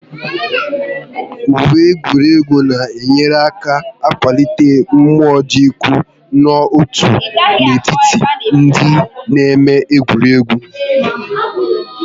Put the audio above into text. Uwe egwuregwu na enyere aka akwalite mmụọ idiko nọ-otu n'etiti ndị na-eme egwuregwu